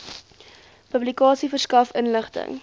publikasie verskaf inligting